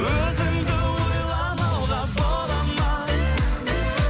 өзіңді ойламауға бола ма